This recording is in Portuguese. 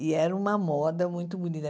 E era uma moda muito bonita.